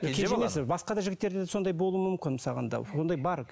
кенже емес басқа да жігіттерде де сондай болуы мүмкін мысалға алғанда ондай бар